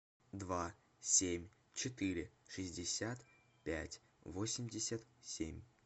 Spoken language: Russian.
два семь четыре шестьдесят пять восемьдесят семь